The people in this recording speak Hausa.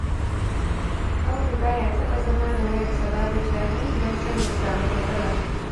Audu ba ya taɓa zama da wayarsa babu caji, don kar ya samu matsala